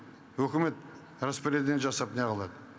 үкімет жасап не қылады